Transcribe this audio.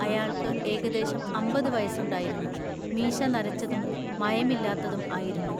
അയാൾക്കു ഏകദേശം അമ്പതു വയസ്സുണ്ടായിരുന്നു. മീശ നരച്ചതും മയമില്ലാത്തതും ആയിരുന്നു.